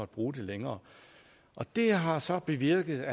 bruge den længere det har så bevirket